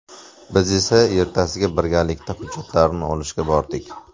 Biz esa ertasiga birgalikda hujjatlarni olishga bordik.